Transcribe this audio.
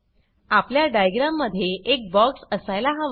आपल्या डायग्राम मध्ये एक बॉक्स असायला हवा